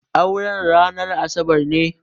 Auren ranar Asabar ne.